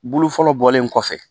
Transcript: Bulu fɔlɔ bɔlen kɔfɛ